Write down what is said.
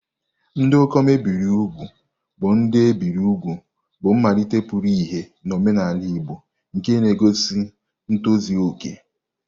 Ndị ikom e biri úgwù bụ ndị e biri úgwù, bụ́ mmalite pụtara ìhè n'omenala Igbo, nke na-egosi ntozu okè.